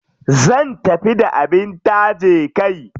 Zan tafi da abin taje kai.